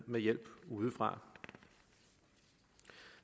med hjælp udefra